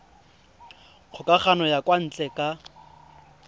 kgokagano ya kwa ntle ka